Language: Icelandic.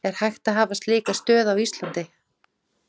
Er hægt að hafa slíka stöð á Íslandi?